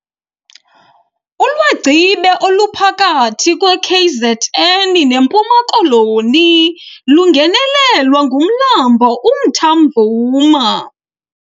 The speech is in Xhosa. Ulwagcibe oluphakathi kweKZN neMpuma Koloni lungenelwa ngumlambo uMtamvuma.